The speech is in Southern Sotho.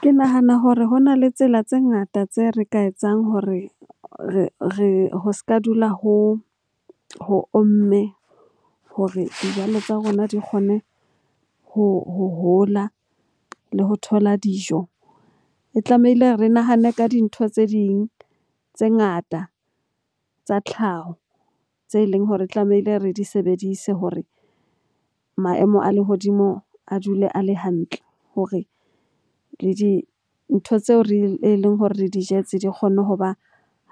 Ke nahana hore ho na le tsela tse ngata tse re ka etsang hore ho s'ka dula ho omme hore dijalo tsa rona di kgone ho hola le ho thola dijo. E tlamehile re nahane ka dintho tse ding tse ngata tsa tlhaho tse leng hore tlamehile re di sebedise hore maemo a lehodimo a dule a le hantle. Hore le dintho tseo e leng hore re di jetse di kgone ho ba